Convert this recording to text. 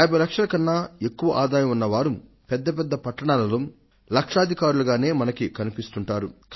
50 లక్షల కన్నా ఎక్కువ ఆదాయం ఉన్న వారు పెద్ద పెద్ద పట్టణాలలో లక్షాధికారులుగానే మనకు కనిపిస్తుంటారు